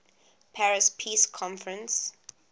paris peace conference